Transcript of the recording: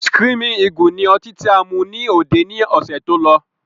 Screaming eagle ni ọtí tí a mú ní òde ni ọ̀sẹ̀ tó lọ